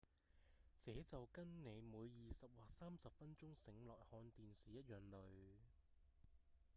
這就跟您每二十或三十分鐘醒來看電視一樣累